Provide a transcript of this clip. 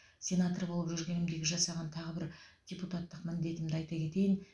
сенатор болып жүргенімдегі жасаған тағы бір депутатық міндетімді айта кетейін